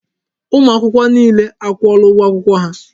Ụmụ akwụkwọ niile a kwụọla ụgwọ akwụkwọ ha.